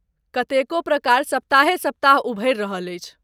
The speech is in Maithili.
कतेको प्रकार सप्ताहे सप्ताह उभरि रहल अछि।